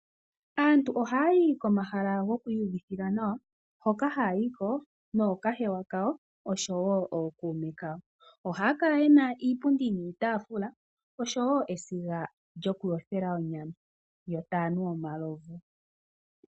Aantu ohayayi komahala gokwii uvitha nawa, hoka haya yiko nookahewa kawo, noshowo ookume kawo. Ohaya kala yena iipundi niitafula, oshowo esiga lyokuyothela onyama, yo tayanu omalovu.